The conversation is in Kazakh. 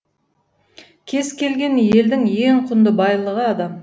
кез келген елдің ең құнды байлығы адам